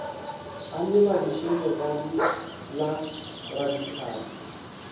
a lebadiše lebadi la radihlapi